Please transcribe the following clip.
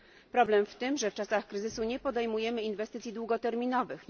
Problem w tym, że w czasach kryzysu nie podejmujemy inwestycji długoterminowych.